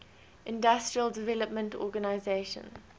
industrial development organization